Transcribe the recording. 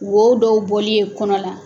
Wo dɔw bɔli ye kɔnɔ la.